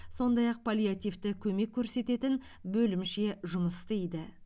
сондай ақ паллиативті көмек көрсететін бөлімше жұмыс істейді